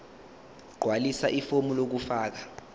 gqwalisa ifomu lokufaka